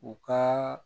U ka